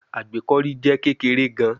Agbekọri jẹ kekere gan